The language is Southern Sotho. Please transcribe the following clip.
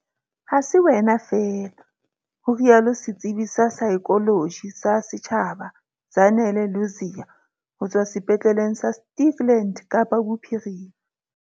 Ha se wena feela, ho rialo setsebi sa saekholoji sa setjhaba Zanele Ludziya ho tswa Sepetleleng sa Stikland, Kapa Bophirima.